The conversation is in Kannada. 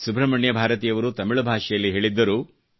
ಸುಬ್ರಹ್ಮಣ್ಯಂ ಭಾರತಿಯವರು ತಮಿಳ್ ಭಾಷೆಯಲ್ಲಿ ಹೇಳಿದ್ದರು